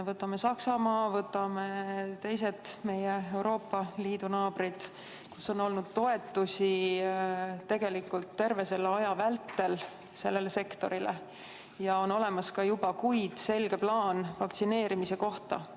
Võtame Saksamaa, võtame teised Euroopa Liidu naabrid, kus sellele sektorile on olnud toetusi terve selle aja vältel ja on olemas juba ka kuid selge plaan vaktsineerimise kohta.